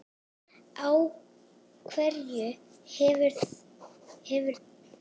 Á hverju hefurðu efni?